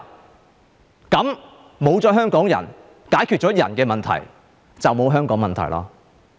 沒有了這些香港人，解決了人的問題，便沒有香港問題。